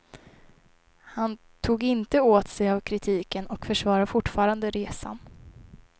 Han tog inte åt sig av kritiken och försvarar fortfarande resan.